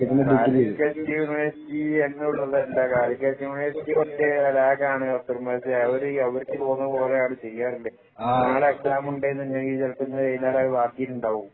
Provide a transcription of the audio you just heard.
Calicut university കുറച്ച് lag ആണ് ചെയ്യാൻ പറ്റില്ല അവര്‍ക്ക് തോന്നും പോലെ അവര്‍ ചെയ്യാറുണ്ട് നാളെ എക്സാം ണ്ടെങ്കിൽ ചിലപ്പോ ഇന്ന് വൈകുന്നേരം അത് മാറ്റിയിട്ടുണ്ടാകും